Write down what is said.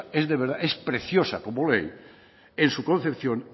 es preciosa como ley en su concepción